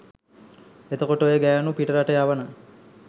එතකොට ඔය ගෑනු පිටරට යවන